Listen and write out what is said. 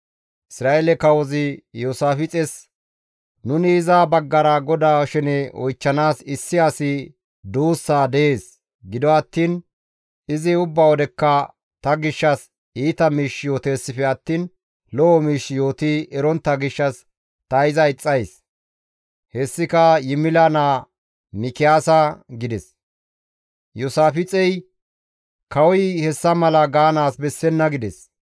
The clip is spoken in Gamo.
Isra7eele kawozi Iyoosaafixes, «Nuni iza baggara GODAA shene oychchanaas issi asi duussaa dees; gido attiin izi ubba wodekka ta gishshas iita miish yooteessife attiin lo7o miish yooti erontta gishshas ta iza ixxays; hessika Yimila naa Mikiyaasa» gides. Iyoosaafixey, «Kawoy hessa mala gaanaas bessenna!» gides.